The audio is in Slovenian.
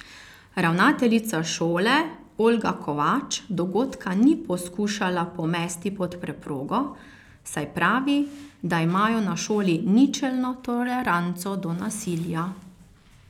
Ravnateljica šole Olga Kovač dogodka ni poskušala pomesti pod preprogo, saj pravi, da imajo na šoli ničelno toleranco do nasilja.